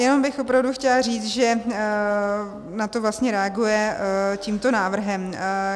Jenom bych opravdu chtěla říct, že na to vlastně reagujeme tímto návrhem.